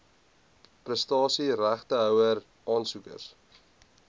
prestasie regtehouer aansoekers